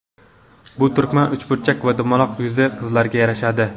Bu turmak uchburchak va dumaloq yuzli qizlarga yarashadi.